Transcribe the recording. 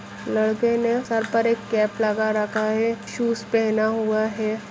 लड़के ने सर पर एक कैप लगा रखा है शूज पेहना हुआ है।